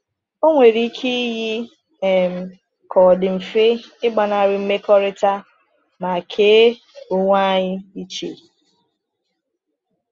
Ọ nwere ike iyi um ka ọ dị mfe ịgbanarị mmekọrịta ma kee onwe anyị iche.